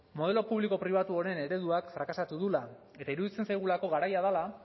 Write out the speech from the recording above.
modelo publiko pribatu honen ereduak frakasatu duela eta iruditzen zaigulako garaia dela